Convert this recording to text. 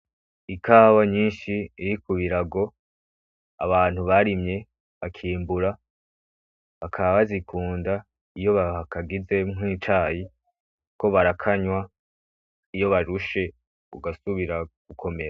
Ikawa nyinshi iri ku birago abantu barimye bakimbura bakaba bazikunda iyo bakagize nk'icayi kuko barakanywa iyo barushe ugasubira gukomera.